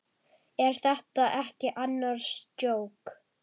Er þetta ekki annars djók?